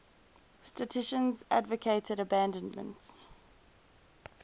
statisticians advocated abandonment